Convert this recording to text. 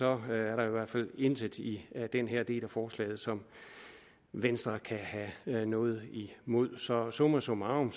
er der i hvert fald intet i den her del af forslaget som venstre kan have noget imod så summa summarum